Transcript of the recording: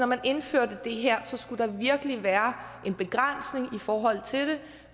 man indførte det her skulle der virkelig være en begrænsning i forhold til det